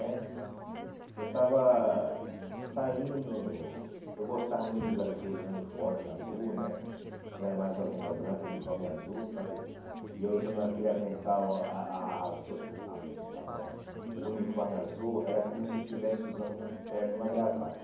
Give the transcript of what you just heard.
né eu estava saindo, eu gostava muito de usar daqueles uniformes azul né, não era mais o avental branco, o uniforme azul, sabe e eu usando aquele avental a a azul, avental ó, o uniforme azul era como se eu estivesse usando um terno e uma gravata,